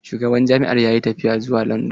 Shugaban jami'an yayi tafiya zuwa landan.